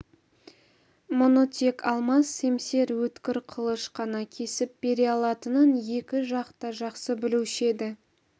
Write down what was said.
мұны тек алмас семсер өткір қылыш қана кесіп бере алатынын екі жақ та жақсы білуші еді